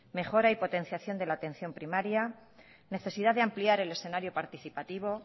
mejora y potenciación de la atención primaria necesidad de ampliar el escenario participativo